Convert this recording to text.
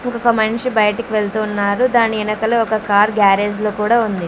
ఒక మనిషి బయటకు వెళ్తూ ఉన్నారు దాని ఎనకల ఒక కార్ గ్యారేజ్ లో కూడా ఉంది.